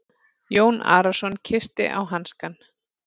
Jón Arason kyssti á hanskann.